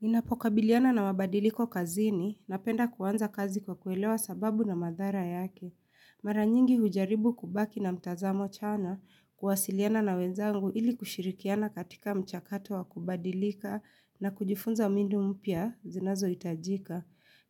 Ninapo kabiliana na mabadiliko kazini, napenda kuanza kazi kwa kuelewa sababu na madhara yake. Mara nyingi ujaribu kubaki na mtazamo chanya kuwasiliana na wenzangu ili kushirikiana katika mchakato wa kubadilika na kujifunza mbinu mpya zinazo itajika.